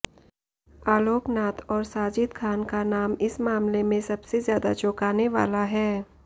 आलोक नाथ और साजिद खान का नाम इस मामले में सबसे ज्यादा चौंकाने वाला है